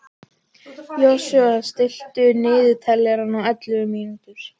Joshua, stilltu niðurteljara á ellefu mínútur.